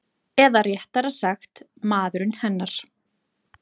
Eða réttara sagt maðurinn hennar.